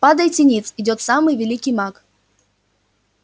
падайте ниц идёт самый великий маг